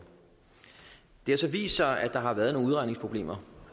det har så vist sig at der har været nogle udregningsproblemer